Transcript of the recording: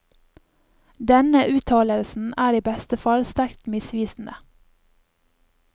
Denne uttalelsen er i beste fall sterkt misvisende.